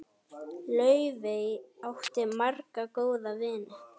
Laufey átti marga góða vini.